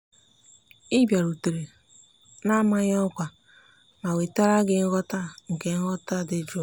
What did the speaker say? ị bịarutere na-amaghị ọkwa ma wetara gị nghọta nke nghọta dị jụụ.